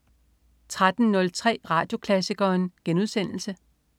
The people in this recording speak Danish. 13.03 Radioklassikeren*